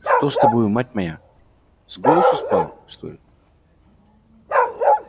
что с тобою мать моя с голосу спала что ли